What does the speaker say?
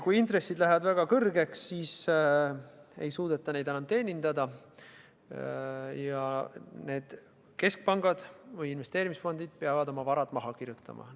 Kui intressid lähevad väga kõrgeks, siis ei suudeta neid enam teenindada ja need keskpangad või investeerimisfondid peavad oma varad maha kandma.